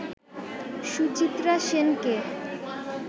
সুচিত্রা সেনকে